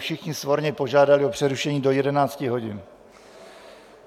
Všichni svorně požádali o přerušení do 11 hodin.